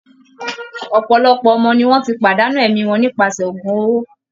Òpòlopò ọmọ ni wọ́n ti pàdánù ẹ̀mí wọn nípasẹ̀ ògún owó